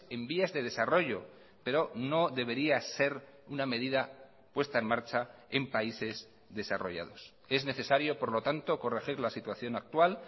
en vías de desarrollo pero no debería ser una medida puesta en marcha en países desarrollados es necesario por lo tanto corregir la situación actual